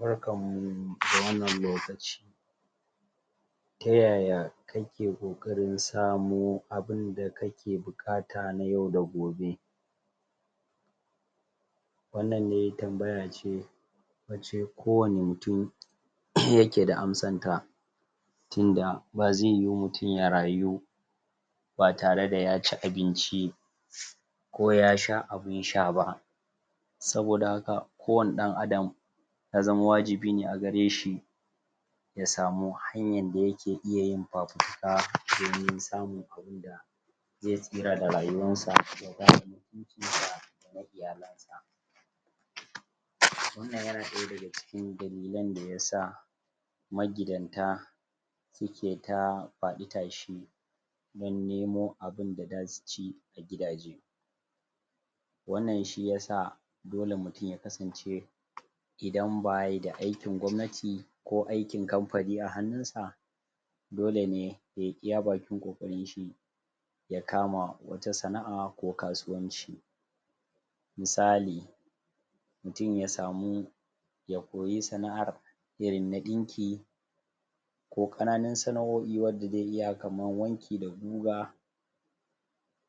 barkan mu da wannan lokaci ta yaya kake kokarin samo abun da kake bukata na yau da gobe wannan ne tambaya ce wace ko wane mutum tin da ba zaiyu mutum ya rayu ba tare da sai ya ci abinci ko ya sha abun sha ba soboda haka kowane dan adam ya zama wajibi ne a gare shi ya samu hanyan da ya ke iya yin? domin samun abun da zai itsira da rayuwan sa?? wannnan ya na daya daga cikin dalilen daya sa magidanta suke ta fadi tashi dan nemo abun da za su ci a gidaje wannan shi ya sa dole mutum ya kasance idan ba yi da aikin gomnati ko aikin company a hannun sa dole ne ya yi iya bakin kokarin shi ya kama wata sana'a ko kasuwanci misali mutum ya samu ya koyi sana'ar ya ringa dinki ko kananan sanaoi wadda dai iya kaman wanki da guga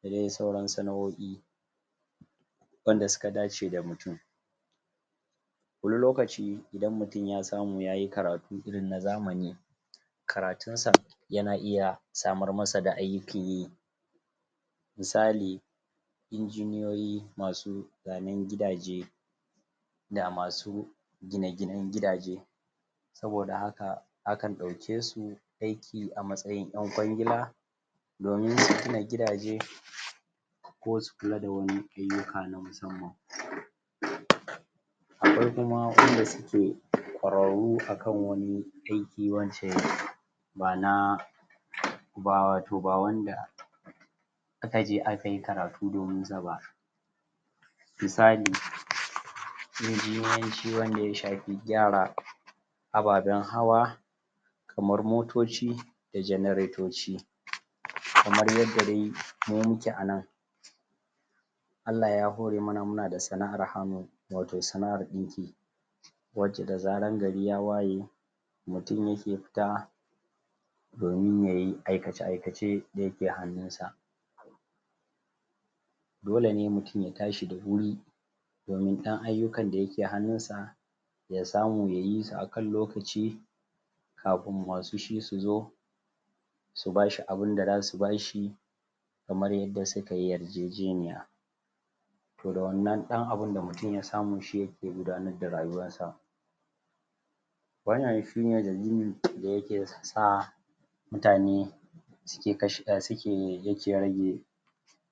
da dai sauran sana'oi wanda suka dace da mutum wani lokaci idan mutumya samu ya yi karatu na zamani karatun sa ya na iya samar masa da aiki yi misali inginiyoyi masu zanen gidaje gine ginen gidaje soboda haka akan dauke su aiki a matsayin dan kwangila domin ana gidaje ko su kula da wani ayuka na musamman sai kuma wanda su ke kwararu akan wani aiki?? ma'anaba wao ba wanda akajeaka yi karatu domin sa ba misali inginiyanci wanda ya shafi gyara ababan hawa kamar motoci da generatoci kmar yadda dai mu muke a nan Allah ya hore mana muna da sana'an hannu watau sana'ar dinki wace da zara gari ya waye mutum ya ke fita domin ya yi aikace aikace wanda yake hannunsa dole ne mutum ya tashi da wuri domin dan ayukan da ke hannun sa ya samu ya yi su akan lokaci kafin masu shi su zo subashi abun da zasu bashi kamar yadda suka yar jejeniya tohda wannan dan abin da mutum ya samu shi yake gudannar da rayuwarsa wannan shi ne dalili da yake sa mutane suke suke rage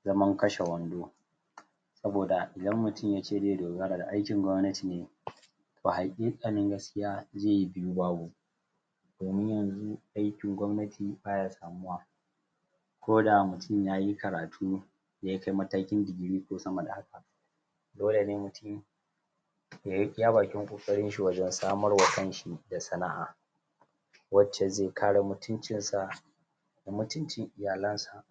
zaman kashe wando soboda idan mutumi ya ce zai dogara da aikin gomnati ne ba hakika nan gaskiya zai yi biyu babu domin yanzu aikin gomnati baya samuwa ko da mutum ya yi karatu da ya kai matakin degree ko sama da haka dole ne mutum yayi iyawa kokari wajan samar wa kan shi da sana'a wace zai kare mutumcin sa da mutuncin iyalen sa